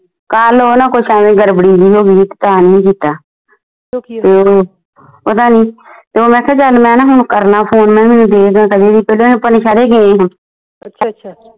ਕਲ ਓਹ ਨਾ ਕੁਸ਼ ਐਵੇਂ ਗੜਬੜੀ ਜੀ ਹੋ ਗਈ ਸੀ ਤਾ ਨੀ ਸੀ ਕੀਤਾ ਪਤਾ ਨੀ ਤੇ ਓਹ ਮੈਂ ਆਖਿਆ ਚੱਲ ਮੈਂ ਨਾ ਹੁਣ ਕਰਨਾ ਫੋਨ ਸ਼ਹਿਰ ਗਈ ਹੁਣ